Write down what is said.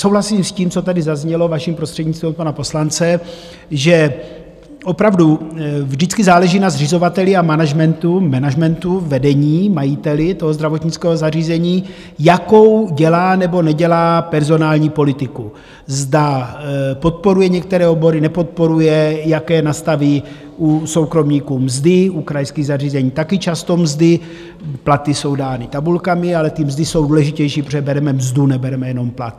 Souhlasím s tím, co tady zaznělo, vaším prostřednictvím, od pana poslance, že opravdu vždycky záleží na zřizovateli a managementu, vedení, majiteli toho zdravotnického zařízení, jakou dělá nebo nedělá personální politiku, zda podporuje některé obory, nepodporuje, jaké nastaví u soukromníků mzdy, u krajských zařízení také často mzdy, platy jsou dány tabulkami, ale ty mzdy jsou důležitější, protože bereme mzdu, nebereme jenom plat.